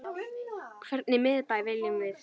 Hvernig miðbæ viljum við?